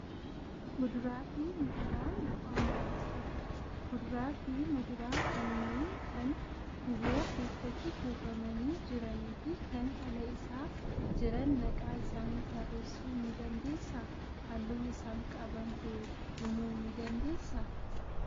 Kuduraa fi muduraan bu'aa maalii qabu? Kuduraa fi muduraa kanneen kan guuboo keessatti kuufamanii jiranii fi kan ala isaa jiran maqaa isaanii tarreessuu ni dandeessaa? Halluu isaan qaban hoo himuu ni dandeessaa?